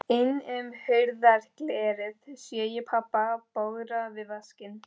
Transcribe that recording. Inn um hurðarglerið sé ég pabba bogra við vaskinn.